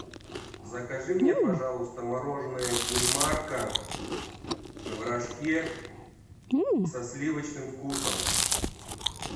закажи мне пожалуйста мороженое инмарко в рожке со сливочным вкусом